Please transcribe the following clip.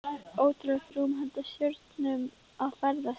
Ótrúlegt rúm handa stjörnum að ferðast í.